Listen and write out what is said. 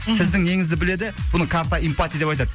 мхм сіздің неңізді біледі бұны карта эмпати деп айтады